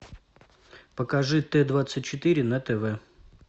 покажи т двадцать четыре на тв